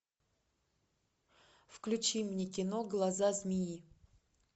включи мне кино глаза змеи